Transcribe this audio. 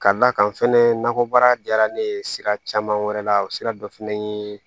Ka d'a kan fɛnɛ nakɔbaara diyara ne ye sira caman wɛrɛ la sira dɔ fɛnɛ ye